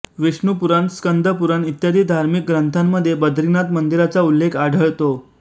विष्णु पुराण स्कंद पुराण इत्यादी धार्मिक ग्रंथांमध्ये बद्रीनाथ मंदिराचा उल्लेख आढळतो